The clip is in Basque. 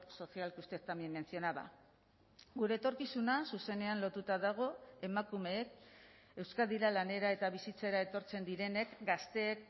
social que usted también mencionaba gure etorkizuna zuzenean lotuta dago emakumeek euskadira lanera eta bizitzera etortzen direnek gazteek